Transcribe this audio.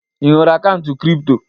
Ị nwere akaụntụ kripto?